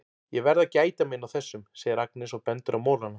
Ég verð að gæta mín á þessum, segir Agnes og bendir á molana.